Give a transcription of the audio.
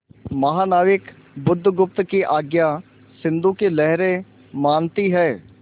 महानाविक बुधगुप्त की आज्ञा सिंधु की लहरें मानती हैं